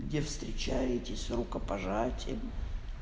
где встречаетесь рукопожатием